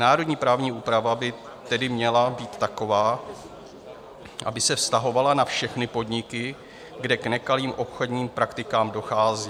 Národní právní úprava by tedy měla být taková, aby se vztahovala na všechny podniky, kde k nekalým obchodním praktikám dochází.